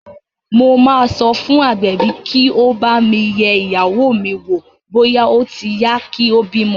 Mo máa sọ fún agbẹ̀bí kí ó bá mi yẹ ìyàwó mi wò bóyá ó ti yá kí ó bímọ